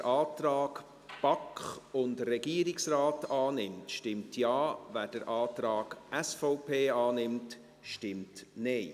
Wer den Antrag BaK und Regierungsrat annimmt, stimmt Ja, wer den Antrag SVP annimmt, stimmt Nein.